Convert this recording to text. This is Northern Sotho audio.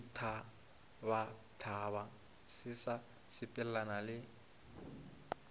ditphabatphaba se se sepelelana le